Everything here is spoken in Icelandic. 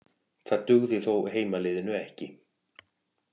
Það dugði þó heimaliðinu ekki